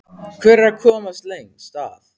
Hver er að komast lengst að?